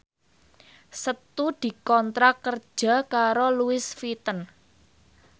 Setu dikontrak kerja karo Louis Vuitton